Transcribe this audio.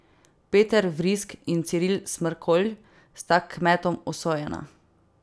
Peter Vrisk in Ciril Smrkolj sta kmetom usojena.